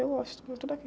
Eu gosto muito daqui.